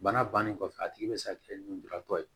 Bana bannen kɔfɛ a tigi bɛ se ka kɛ lujuratɔ ye